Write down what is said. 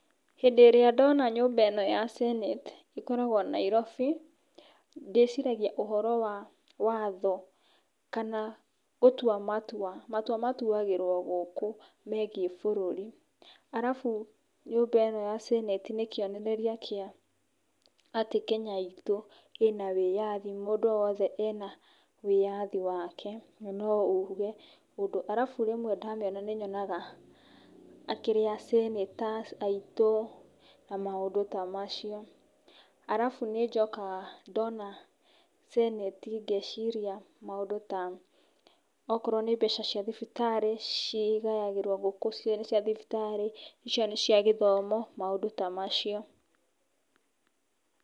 Hĩndĩ ĩrĩa ndona nyũmba ĩno ya Senate, ĩkoragwo Nairobi, ndĩciragia ũhoro wa, watho, kana gũtua matua, matũa matuagĩrwo gũkũ megiĩ bũrũri arabu nyũmba ĩno ya senate nĩ kĩonereria kĩa, atĩ Kenya itũ ĩna wĩathi mũndũ wothe ena wĩathi, wake na no ũge ũndũ, arabu rĩmwe ndamĩona nĩ nyonaga akĩrĩ a senator aitũ, na maũndũ ta macio. Arabu nĩ njokaga ndona, senate ngeciria maũndũ ta okorwo nĩ mbeca cia thibitarĩ cigayagĩrwo gũkũ, ici nĩ cia thibitarĩ ico nĩ cia gĩthomo, maũndũ ta macio.